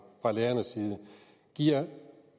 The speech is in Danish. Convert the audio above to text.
fra lærerne giver